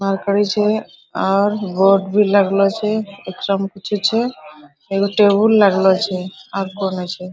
Mercury छै और board भी लगलो छै एकरा में कुछु छै एगो टेबुल लगलो छै आर कोय ने छै।